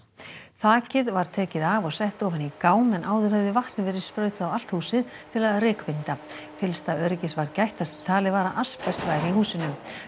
þakið var tekið af og sett ofan í gám en áður hafði vatni verið sprautað á allt húsið til að að rykbinda fyllsta öryggis var gætt þar sem talið var að asbest væri í húsinu